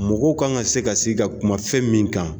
Mɔgɔw kan ka se ka sigi ka kuma fɛn min kan